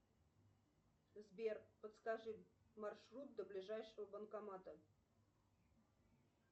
сбер подскажи маршрут до ближайшего банкомата